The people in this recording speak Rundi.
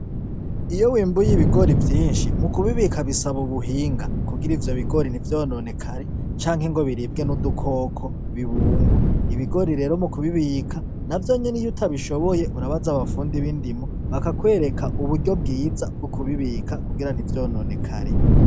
Iyo wimbuy'ibigori vyinshi mu kubibika bisaba ubuhinga , kugira ivyo bigori ntivyononekare canke ngo biribwe n'udukoko ngo bibunrwe .Ibigori rero mu kubibika navyo nyene iyo utabishoboye urabaza abafundi b'indimo bakakwereka uburyo bwiza bwo kubibika kugira ntivyononekare.